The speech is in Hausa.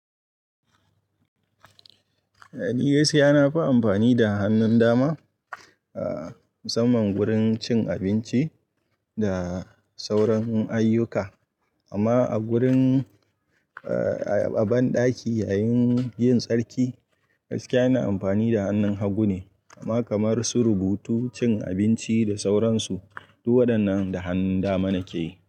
Eh, ni yes ya nafi amfani da hannun dama, a saman gurin cin abinci da sauran ayyuka. Amma a gurin, a banɗaki yayin yin tsarki, gaskiya ina amfani da hannun hagu ne. Amma kamar su rubutu, cin abinci da sauran su, duk waɗannan da hannun dama nake yi.